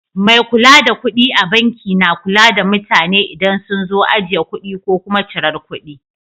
Mai kula da kuɗi a banki na kula da mutane idan sun zo ajiye kuɗi ko kuma cirar kuɗi.